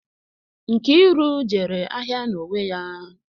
Nkiru jere ahịa n'onwe ya